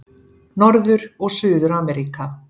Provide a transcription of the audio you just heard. Norður- og Suður-Ameríka